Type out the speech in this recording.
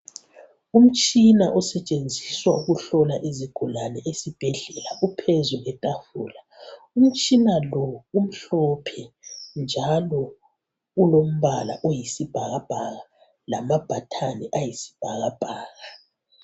Umtshina osetshenziswa ukuhlola izigulani ezibhedlela uphezu kwetafula. Umtshina lo umhlophe njalo ulompala oyisibhakabhaka lamabhathani ayisibhakabhaka.